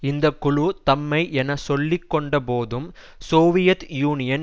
இந்த குழு தம்மை என சொல்லிக்கொண்டபோதும் சோவியத் யூனியன்